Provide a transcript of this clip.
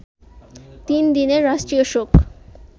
তিন দিনের রাষ্ট্রীয় শোক